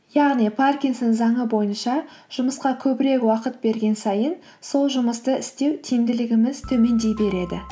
яғни паркинсон заңы бойынша жұмысқа көбірек уақыт берген сайын сол жұмысты істеу тиімділігіміз төмендей береді